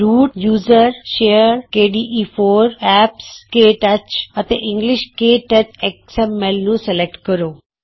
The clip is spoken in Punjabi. route U S R share K D E 4 apps K touch root usr share kde4 apps ktouch ਅਤੇ ਇੰਗਲਿਸ਼ਕੇ ਟੱਚਐਕਸ ਐਮ ਐਲ ਨੂੰ ਸਲੈਕਟ ਕਰੋ